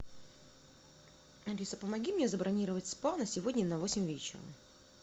алиса помоги мне забронировать спа на сегодня на восемь вечера